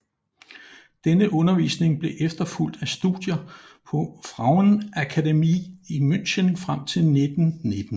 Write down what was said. Denne undervisning blev efterfulgt af studier på Frauenakademie i München frem til 1919